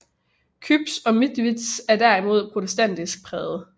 Küps og Mitwitz er derimod protestantisk præget